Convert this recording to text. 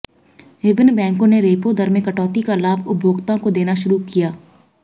विभिन्न बैंकों ने रेपो दर में कटौती का लाभ उपभोक्ताओं को देना शुरू किया